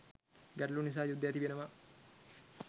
ගැටළු නිසා යුද්ධ ඇති වෙනවා.